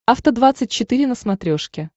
афта двадцать четыре на смотрешке